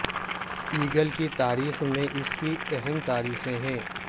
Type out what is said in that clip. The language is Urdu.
ایگل کی تاریخ میں اس کی اہم تاریخیں ہیں